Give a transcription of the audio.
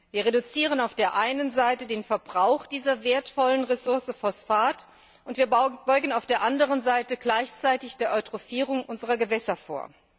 Wir reduzieren auf der einen Seite den Verbrauch dieser wertvollen Ressource Phosphat, und wir beugen auf der anderen Seite gleichzeitig der Eutrophierung unserer Gewässer vor.